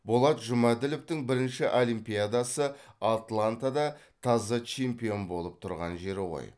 болат жұмәділовтың бірінші олимпиадасы атлантада таза чемпион болып тұрған жері ғой